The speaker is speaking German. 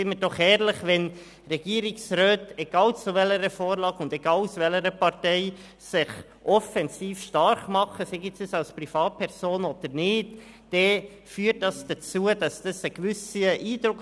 Seien wir doch ehrlich: Wenn sich Regierungsräte, egal welcher Partei sie angehören, offensiv für eine Sache stark machen, dann hinterlässt dies bei den Leuten einen gewissen Eindruck.